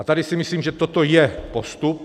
A tady si myslím, že toto je postup.